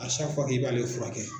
i b'ale fura kɛ.